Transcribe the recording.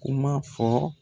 Kuma fɔ.